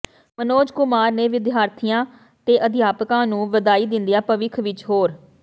ਮਨੋਜ ਕੁਮਾਰ ਨੇ ਵਿਦਿਆਰਥੀਆਂ ਤੇ ਅਧਿਆਪਕਾਂ ਨੂੰ ਵਧਾਈ ਦਿੰਦਿਆਂ ਭਵਿੱਖ ਵਿਚ ਹੋਰ